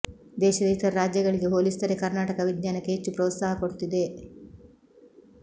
ದೇಶದ ಇತರ ರಾಜ್ಯಗಳಿಗೆ ಹೋಲಿಸಿದರೆ ಕರ್ನಾಟಕ ವಿಜ್ಞಾನಕ್ಕೆ ಹೆಚ್ಚು ಪ್ರೋತ್ಸಾಹ ಕೊಡ್ತಿದೆ